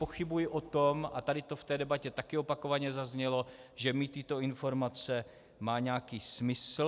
Pochybuji o tom, a tady to v té debatě také opakovaně zaznělo, že mít tyto informace má nějaký smysl.